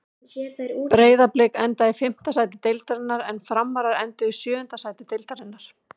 Breiðablik endaði í fimmta sæti deildarinnar en Framarar enduðu í sjöunda sæti deildarinnar.